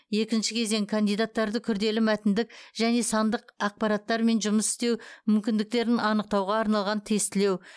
екінші кезең кандидаттарды күрделі мәтіндік және сандық ақпараттармен жұмыс істеу мүмкіндіктерін анықтауға арналған тестілеу